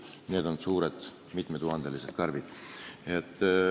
Need on suured, mitmetuhandelised karbid.